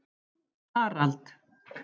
Harald